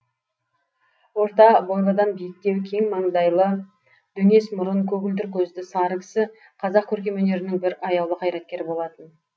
орта бойлыдан биіктеу кен маңдайлы дөңес мұрын көгілдір көзді сары кісі қазақ көркем өнерінің бір аяулы қайраткері болатын